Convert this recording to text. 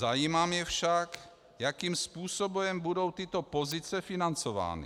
Zajímá mě však, jakým způsobem budou tyto pozice financovány.